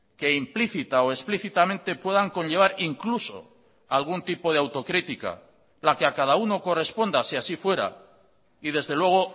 que implícita o explícitamente puedan conllevar incluso algún tipo de autocrítica la que a cada uno corresponda si así fuera y desde luego